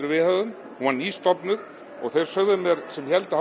við höfðum hún var nýstofnuð og þeir sögðu mér sem héldu